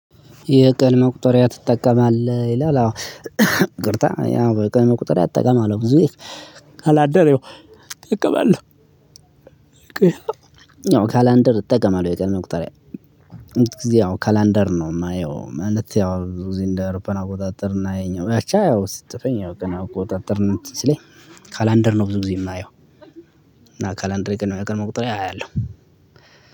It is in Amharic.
የቀን መቁጠሪያ ትጠቀማለህ ይላል አዎ ይቅርታ ያው ቀን መቁጠሪያ ትጠቀማለህ? ብዙዎች ካላንደር እጠቀማለው ካላንደር እጠቀማለው የቀን መቁጠርያ እዚህ ያው ካላንደር ነው የማየው ማለት ያው ብዙ ጊዜ እንደ አውሮፓን አቆጣጠርና ይሄኛው አቻ አዎ ስትጠፋኝ አዎ ቆጣጠር ስለኝ ካላንደር ነው ብዙ ጊዜ የማየው። እና ካላንደር የቀን መቁጠሪያ አያለው።